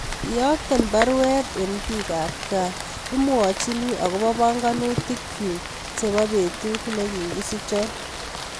Iyokten baruet en piik ab kaa imwachini agobo panganutikyuk chebo betut negi kisichon